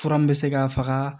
Fura min bɛ se ka faga